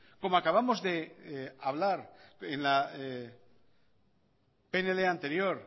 como acabamos de hablar en la pnl anterior